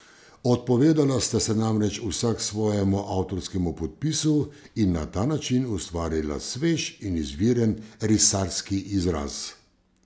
Odpovedala sta se namreč vsak svojemu avtorskemu podpisu in na ta način ustvarila svež in izviren risarski izraz.